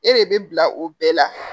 E de bɛ bila o bɛɛ la